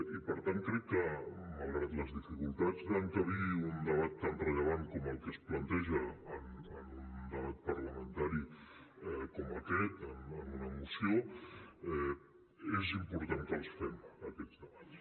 i per tant crec que malgrat les dificultats d’encabir un debat tan rellevant com el que es planteja en un debat parlamentari com aquest en una moció és important que els fem aquests debats